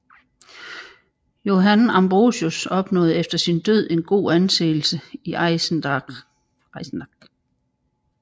Johann Ambrosius opnåede efter sin død en god anseelse i Eisenach